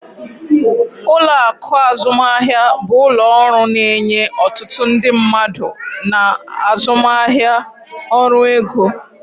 Ụlọ akụ azụmaahịa bụ ụlọ ọrụ na-enye otutu ndị mmadụ na azụmaahịa ọrụ ego.